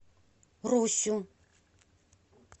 русю